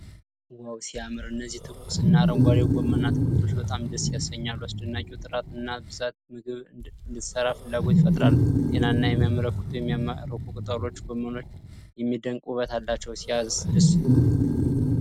ዋው ሲያምር! እነዚህ ትኩስ እና አረንጓዴ ጎመን አትክልቶች በጣም ደስ ያሰኛሉ። አስደናቂው ጥራት እና ብዛት ምግብ እንድትሰራ ፍላጎት ይፈጥራል። ጤናን የሚያመለክቱ የሚማርኩ ቅጠሎች። ጎመንዎቹ የሚደንቅ ውበት አላቸው። ሲያስደስት!